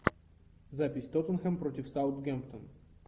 запись тоттенхэм против саутгемптон